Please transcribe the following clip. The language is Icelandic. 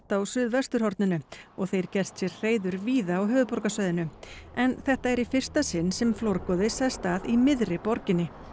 á suðvesturhorninu og þeir gert sér hreiður víða á höfuðborgarsvæðinu en þetta er í fyrsta sinn sem flórgoði sest að í miðri borginni